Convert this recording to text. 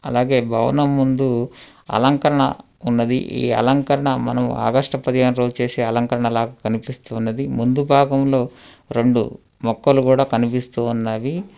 అలాగే భవనం ముందు అలంకరణ ఉన్నవి ఈ అలంకరణ మనం ఆగస్టు పదిహేను రోజు చేసే అలంకరణ లాగా కనిపిస్తున్నది ముందు భాగంలో రెండు మొక్కలు కూడా కనిపిస్తూ ఉన్నవి.